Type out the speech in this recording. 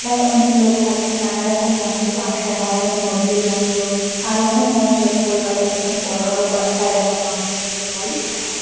প্রায় অনেক লোক থাকে। নানারকম মঞ্চে ফাঙ্কশন হয়। যেমন- নজরুল মঞ্চ আরো অনেক মঞ্চ আছে কলকাতা - য় যেখানে বড়ো বড়ো কনসার্ট বা ফাঙ্কশন যেটাকে বলে সেটা হয়।